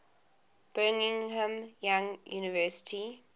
brigham young university